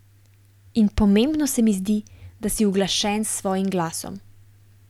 In pomembno se mi zdi, da si uglašen s svojim glasom.